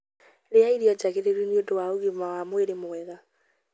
Rĩa irio njagĩrĩru nĩ ũndũ wa ũgima wa mwĩrĩ mwega.